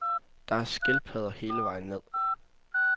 Der er skildpadder hele vejen ned.